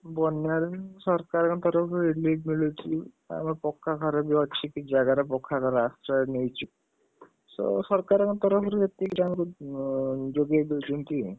ବନ୍ୟାରେ ସରକାରଙ୍କ relief ମିଳୁଛି ଆଉ, ଆଉ ପକ୍କା ଘରବି ଅଛି କିଛି ଜାଗାରେ, ପକ୍କା ଘରେ ଆଶ୍ରୟ ନେଇଛୁ, ସରକାରଙ୍କ ତରଫରୁ ଏତିକି ଯୋଗେଇ ଦେଇଛନ୍ତି ଆଉ,